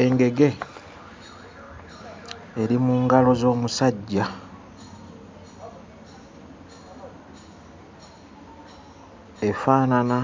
Engege eri mu ngalo z'omusajja efaanana